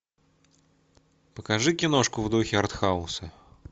покажи киношку в духе артхауса